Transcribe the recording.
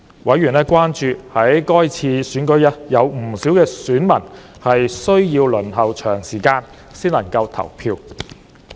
委員關注到，該次選舉有不少選民需要輪候長時間才能投票。